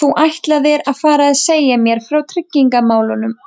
Þú ætlaðir að fara að segja mér frá tryggingamálunum-